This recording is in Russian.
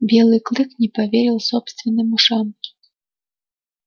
белый клык не поверил собственным ушам